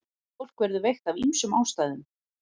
Fólk verður veikt af ýmsum ástæðum.